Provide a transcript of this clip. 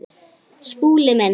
Skúli minn!